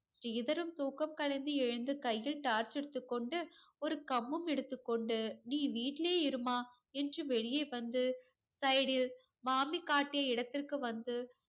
ஸ்ரீதரன் தூக்கம் கலைந்து எழுந்து கையில் torch எடுத்துக் கொண்டு, ஒரு கம்பும் எடுத்துக் கொண்டு, நீ வீட்டிலேயே இரும்மா என்று வெளியே வந்து side ல் மாமி காட்டிய இடத்திற்கு வந்து